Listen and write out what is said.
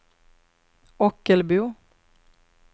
Ockelbo